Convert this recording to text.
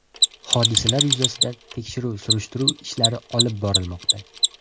Hodisalar yuzasidan tekshiruv-surishtiruv ishlari olib borilmoqda.